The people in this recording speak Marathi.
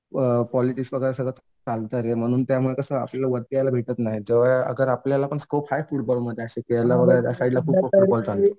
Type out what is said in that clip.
अ पॉलिटिक्स वगैरे सगळं चालतंय रे त्यामुळे कसं आल्याला वरती यायला भेटत नाही आपल्याला पण स्कोप आहे फुटबॉल ला वगैरे असे प्लेयर